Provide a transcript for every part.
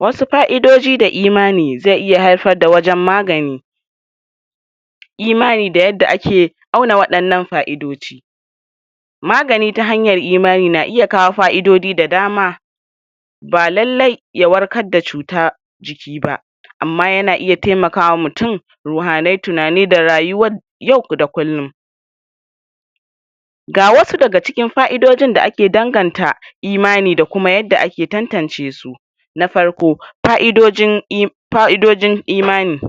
Wasu fa'idoji da imani ze iya haifar da wajan magani imani da yadda ake auna wayannan fa'idoji magani ta hanyar imani na iya kawo fa'idodi da dama ba lailai ya warkar da cuta jiki ba amma yana iya taimaka wa mutum wahalai, tunani da rayuwa yau da kullum ga wasu daga cikin fa'idojin da ake danganta imani da kuma yadda ake tantancesu na farko fa'idojin imani fa'idojin imani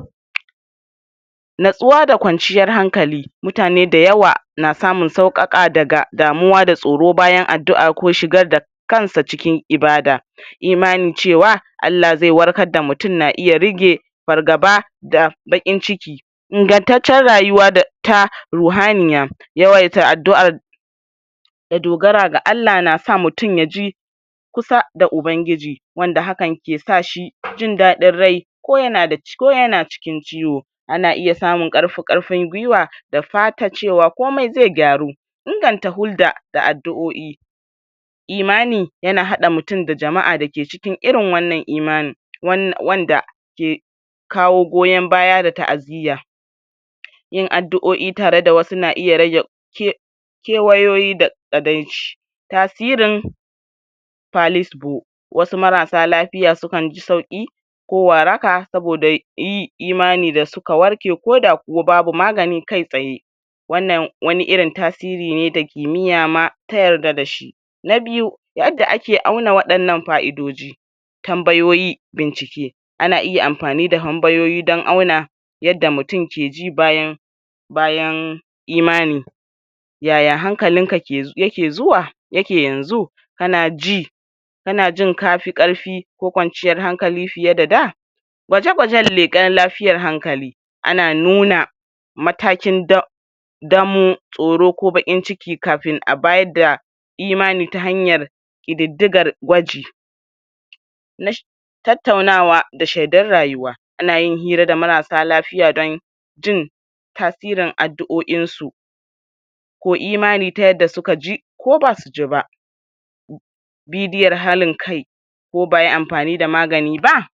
natsuwa da kwanciyar hankali mutane dayawa na samun saukakawa daga damuwa da tsaro bayan addu'a ko shigar da kansa cikin ibada imanin cewa Allah ze warkar da mutum na iya rage fargaba da baƙin ciki ingantace rayuwa da ta ruhaniya, yawaita addu'ar da dogara ga Allah na sa mutum ya ji kusa da ubangiji wanda hakan ke sa shi jindadin rai ko yana ko yana cikin ciwo ana iya samun karfi- karfin gwiwa da fatan cewa komai ze gyaru inganta hulɗa da addu'oi imani yana haɗa mutum da jama'a dake irin cikin wannan imanin wanda ke kawo goyan baya da ta'aziyya yin addu'oi tare da wasu na iya rage ke kewayoyi da kaɗaici tasirin wasu marasa lafiya sukan ji sauki ko waraka saboda yin imani da suka warke ko da babu magani kai tsaye wannan wani irin tasiri ne da kimiyya ma ta yarda da shi na biyu yadda ake auna wadannan fa'idoji tambayoyi bincike ana iya amfani da tambayoyi dan auna yadda mutum ke ji bayan bayan imani yaya hankalinka yake zuwa yake yanzu kana ji kana jin kafi karfi ko kwanciyan hankali fiye da da gwaje-gwaje da lekan lafiyar hankali ana nuna matakin damo, tsoro ko baƙin ciki kafin a bayar da imani ta hanyar kididigar gwaji na shiida tattaunawa da sheddan rayuwa ana yin hira da marasa lafiya don jin tasirin addu'oin su ko imani ta yadda suka ji ko basu ji ba bidiyon halin kai ko ba'a yi da amfani da magani ba.